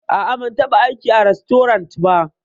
A'a, ban taɓa aiki a rastorant ba.